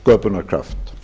sköpunarkraft